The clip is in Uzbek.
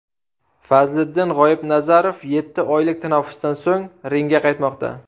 Fazliddin G‘oibnazarov yetti oylik tanaffusdan so‘ng ringga qaytmoqda.